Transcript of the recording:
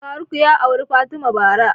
Faruk ya auri fatima bara